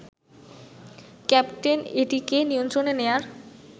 captain এটিকে নিয়ন্ত্রণে নেয়ার